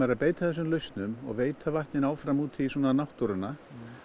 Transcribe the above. að beita þessum lausnum og veita vatni áfram út í náttúruna